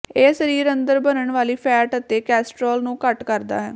ਇਹ ਸਰੀਰ ਅੰਦਰ ਬਣਨ ਵਾਲੀ ਫੈਟ ਅਤੇ ਕੋਲੈਸਟਰੋਲ ਨੂੰ ਘੱਟ ਕਰਦਾ ਹੈ